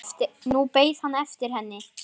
Nú beið hann eftir henni.